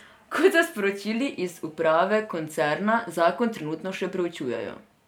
Kot so sporočili iz uprave koncerna, zakon trenutno še preučujejo.